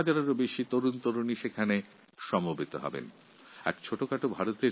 ১০ হাজারের বেশি যুববন্ধু এই অনুষ্ঠানে অংশগ্রহণ করতে চলেছে